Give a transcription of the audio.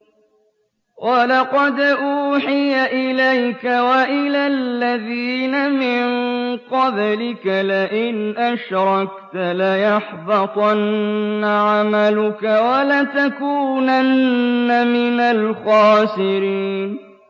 وَلَقَدْ أُوحِيَ إِلَيْكَ وَإِلَى الَّذِينَ مِن قَبْلِكَ لَئِنْ أَشْرَكْتَ لَيَحْبَطَنَّ عَمَلُكَ وَلَتَكُونَنَّ مِنَ الْخَاسِرِينَ